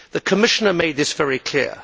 The Commissioner made this very clear.